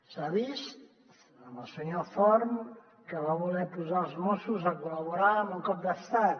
s’ha vist amb el senyor forn que va voler posar els mossos a col·laborar en un cop d’estat